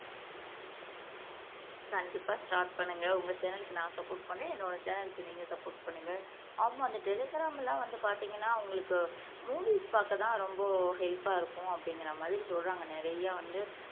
கண்டிப்பா ஸ்டார்ட் பண்ணுங்க உங்க சேனல்க்கு நான் சப்போர்ட் பண்ணரே என்னோட சேனல்க்கு நீங்க சப்போர்ட் பண்ணுங்க ஆமா அந்த டெலிகிராம் எல்லாம் வந்து பார்த்தீங்கன்னா அவங்களுக்கு மூவிஸ் பார்க்கத்தான் ரொம்ப ஹெல்பா இருக்கும் அப்படிங்கிற மாதிரி சொல்றாங்க நிறைய வந்து